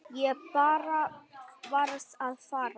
Ég bara varð að fara.